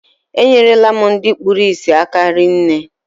E nyere la m ndị kpụrụ isi aka rinne